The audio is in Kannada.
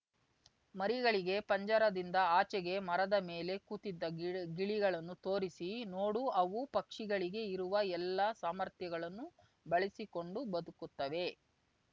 ಮರಿಗಳಿಗೆ ಪಂಜರದಿಂದ ಆಚೆಗೆ ಮರದ ಮೇಲೆ ಕೂತಿದ್ದ ಗಿಳಿ ಗಿಳಿಗಳನ್ನು ತೋರಿಸಿ ನೋಡು ಅವು ಪಕ್ಷಿಗಳಿಗೆ ಇರುವ ಎಲ್ಲಾ ಸಾಮರ್ಥ್ಯಗಳನ್ನು ಬಳಸಿಕೊಂಡು ಬದುಕುತ್ತವೆ